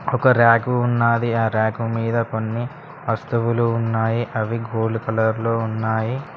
ఒక ర్యాకు ఉన్నది ఆ ర్యాకు మీద కొన్ని వస్తువులు ఉన్నాయి అవి గోల్డ్ కలర్ లో ఉన్నాయి.